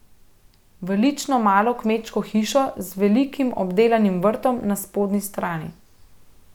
V lično malo kmečko hišo z velikim obdelanim vrtom na spodnji strani.